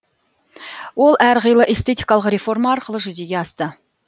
ол әр қилы эстетикалық реформа арқылы жүзеге асты